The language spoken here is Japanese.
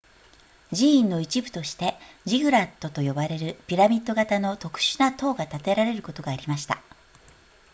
寺院の一部としてジグラットと呼ばれるピラミッド型の特殊な塔が建てられることがありました